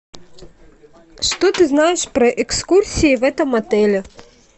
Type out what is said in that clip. что ты знаешь про экскурсии в этом отеле